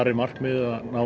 er markmiðið að ná